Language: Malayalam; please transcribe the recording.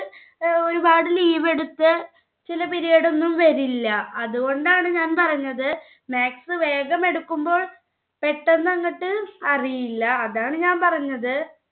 ഒരുപാട് leave എടുത്ത് ചില period ഒന്നും വരില്ല. അതുകൊണ്ടാണ് ഞാൻ പറഞ്ഞത് maths വേഗം എടുക്കുമ്പോൾ പെട്ടന്ന് അങ്ങട്ട് അറിയില്ല. അതാണ് ഞാൻ പറഞ്ഞത്